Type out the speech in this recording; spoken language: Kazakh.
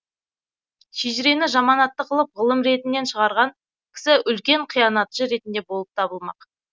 шежірені жаман атты қылып ғылым ретінен шығарған кісі үлкен қиянатшы ретінде болып табылмақ